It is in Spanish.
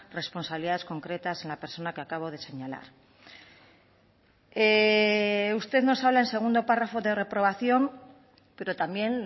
responsabilidades concretas en la persona que acabo de señalar usted nos habla en segundo párrafo de reprobación pero también